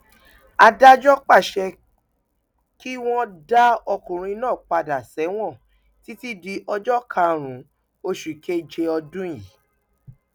adájọ pàṣẹ kí wọn dá ọkùnrin náà padà sẹwọn títí di ọjọ karùnún oṣù keje ọdún yìí